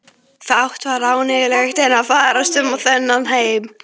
Fátt var ánægjulegra en að ferðast um þennan heim.